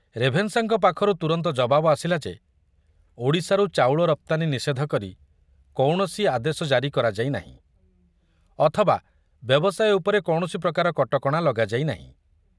ରେଭେନ୍ସାଙ୍କ ପାଖରୁ ତୁରନ୍ତ ଜବାବ ଆସିଲା ଯେ ଓଡ଼ିଶାରୁ ଚାଉଳ ରପ୍ତାନୀ ନିଷେଧ କରି କୌଣସି ଆଦେଶ ଜାରି କରାଯାଇନାହିଁ, ଅଥବା ବ୍ୟବସାୟ ଉପରେ କୌଣସି ପ୍ରକାର କଟକଣା ଲଗାଯାଇ ନାହିଁ।